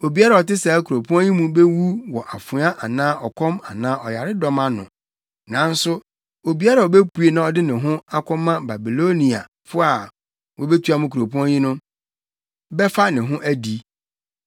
Obiara a ɔte saa kuropɔn yi mu bewu wɔ afoa anaa ɔkɔm anaa ɔyaredɔm ano. Nanso obiara a obepue na ɔde ne ho akɔma Babiloniafo a wɔabetua mo kuropɔn yi no, bɛfa ne ho adi.